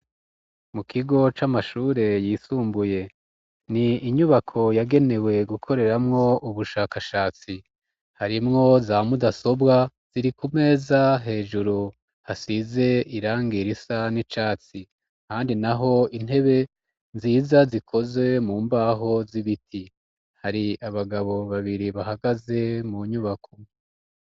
Mu kigo c'amashure yisumbuye ni inyubako yagenewe gukoreramwo ubushakashatsi harimwo za mudasobwa ziri ku meza hejuru hasize irangirisa n'icatsi kandi naho intebe nziza zikoze mu mbaho z'ibiti hari abagabo babiri bahagaze mu nyubako.